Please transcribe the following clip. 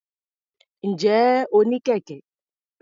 Ǹjẹ́ o ní kẹ̀kẹ́?